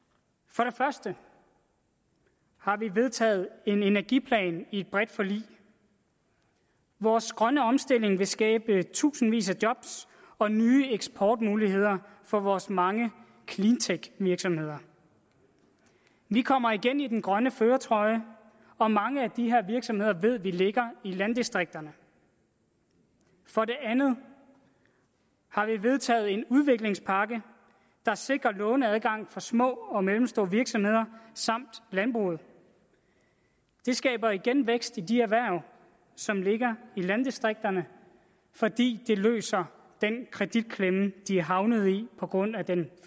for det første har vi vedtaget en energiplan i et bredt forlig vores grønne omstilling vil skabe tusindvis af job og nye eksportmuligheder for vores mange cleantech virksomheder vi kommer igen i den grønne førertrøje og mange af de her virksomheder ved vi ligger i landdistrikterne for det andet har vi vedtaget en udviklingspakke der sikrer låneadgang for små og mellemstore virksomheder samt landbruget det skaber igen vækst i de erhverv som ligger i landdistrikterne fordi det løser den kreditklemme de er havnet i på grund af den